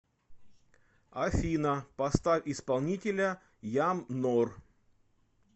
афина поставь исполнителя ям нор